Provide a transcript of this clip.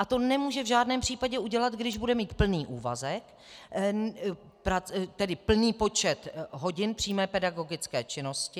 A to nemůže v žádném případě udělat, když bude mít plný úvazek, tedy plný počet hodin přímé pedagogické činnosti.